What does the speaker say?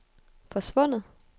forsvundet